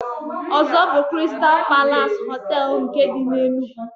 Ozo bu "Kristal Palas Hotel nke di n'Enugu.